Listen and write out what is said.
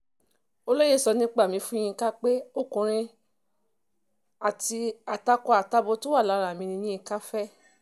olóye sọ nípa mi fún yinka pé yinka ọkùnrin ni àtakọ àtabo tó wà lára mi ní yinka fẹ́